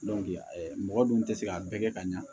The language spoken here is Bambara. mɔgɔ dun tɛ se ka bɛɛ kɛ ka ɲa